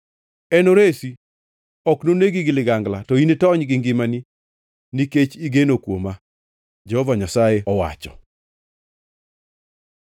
Enoresi; ok nonegi gi ligangla to initony gi ngimani, nikech igeno kuoma,’ ” Jehova Nyasaye owacho.